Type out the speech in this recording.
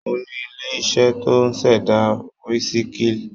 Mo ní ilé-iṣẹ́ tó ń ṣẹ̀dá wísíkì.